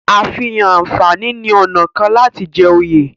àfihàn ànfàní ní ọnà kán láti jé ijoye.